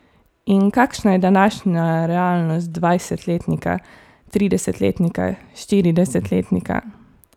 In kakšna je današnja realnost dvajsetletnika, tridesetletnika, štiridesetletnika?